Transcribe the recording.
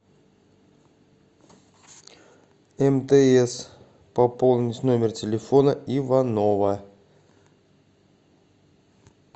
мтс пополнить номер телефона иванова